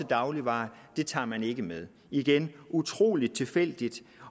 dagligvarer tager man ikke med igen det utrolig tilfældigt